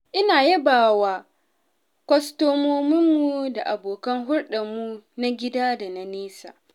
Ina yabawa kwastomominmu da abokan hulɗarmu na gida da na nesa.